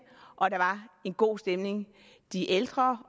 og der var en god stemning de ældre